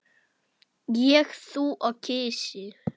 Ég, þú og kisi.